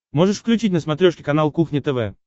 можешь включить на смотрешке канал кухня тв